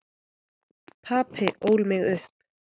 Papi ól mig upp.